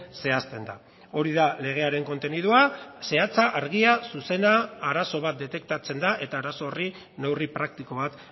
zehazten da hori da legearen kontenidua zehatza argia zuzena arazo bat detektatzen da eta arazo horri neurri praktiko bat